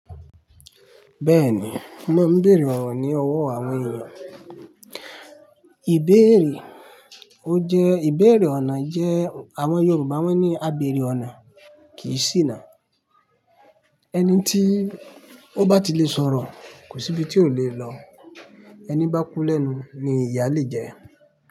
Bẹ́ẹ̀ni, mo máa ń bèèrè ọ̀rọ̀ ní ọwọ́ àwọn ènìyàn. Ìbéèrè ó jẹ́, ìbéèrè ọ̀nà jẹ́, àwọn Yorùbá wọ́n ní, a bèèrè ọ̀nà kìí ṣì nà. Ẹni tí ó bá ti le sọ̀rọ̀, kò sí ibi tí ó le lọ. Ẹnìbá kú lẹ́nu, ni ìyà lè jẹ.